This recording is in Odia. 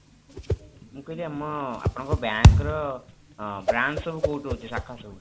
ମୁଁ କହିଲି ଆମ ଆପଣଙ୍କ bank ର ଆଁ branch ସବୁ କୋଉଠି ରହୁଛି ଶାଖା ସବୁ?